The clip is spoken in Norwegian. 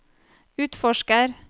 utforsker